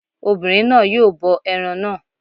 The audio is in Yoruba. Obìnrin náà yóò bọ ẹran náà